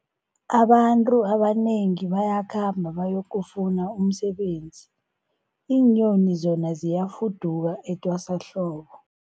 Abantu abanengi bayakhamba bayokufuna umsebenzi, iinyoni zona ziyafuduka etwasahlobo.